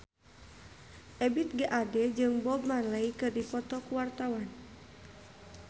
Ebith G. Ade jeung Bob Marley keur dipoto ku wartawan